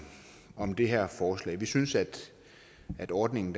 om det her forslag vi synes at at ordningen